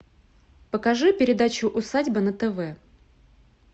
покажи передачу усадьба на тв